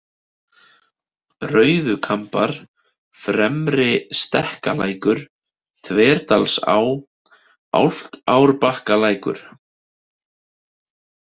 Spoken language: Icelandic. Rauðukambar, Fremri-Stekkalækur, Þverdalsá, Álftárbakkalækur